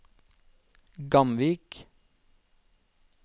Gamvik